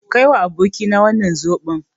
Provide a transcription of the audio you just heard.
Kaiwa abokina wannan zoɓon.